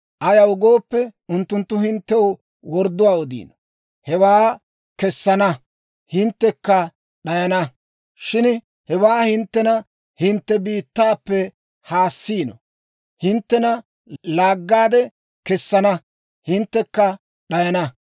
Ayaw gooppe, unttunttu hinttew wordduwaa odiino; hewaa hinttena hintte biittaappe haassiino. Hinttena laaggaade kessana; hinttekka d'ayana.